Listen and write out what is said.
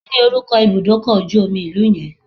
Kí ni orúkọ ibùdókọ̀ ojú omi ìlú yẹn?